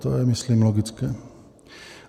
To je, myslím, logické.